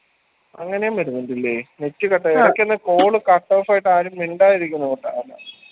അങ്ങനേം വരുന്നതില്ലേ net call cut off ആയിട്ടും ആരും മിണ്ടാതിരിക്കുന്നോണ്ടാണ്